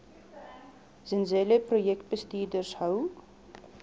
zenzele projekbestuurders hou